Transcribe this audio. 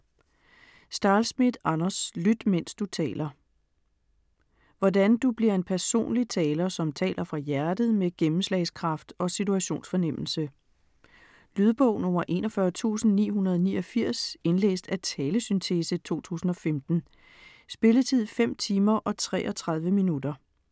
Stahlschmidt, Anders: Lyt mens du taler Hvordan du bliver en personlig taler, som taler fra hjertet med gennemslagskraft og situationsfornemmelse. Lydbog 41989 Indlæst af talesyntese, 2015. Spilletid: 5 timer, 33 minutter.